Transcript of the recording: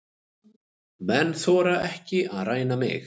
Menn þora ekki að ræna mig.